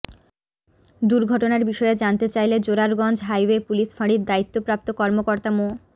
দুর্ঘটনার বিষয়ে জানতে চাইলে জোরারগঞ্জ হাইওয়ে পুলিশ ফাঁড়ির দায়িত্বপ্রাপ্ত কর্মকর্তা মো